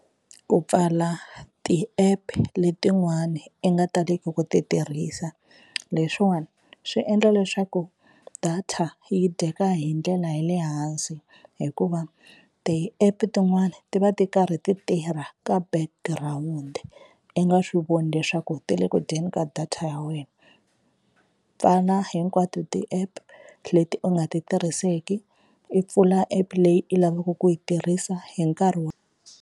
Ku pfala ti-app letin'wani i nga taleki ku ti tirhisa leswiwani swi endla leswaku data yi dyeka hi ndlela ya le hansi hikuva ti-app tin'wani ti va ti karhi ti tirha ka backgroun-i i nga swi voni leswaku ti le ku dyeni ka data ya wena. Pfala hinkwato ti-app leti u nga ti tirhiseki i pfula app leyi i lavaka ku yi tirhisa hi nkarhi .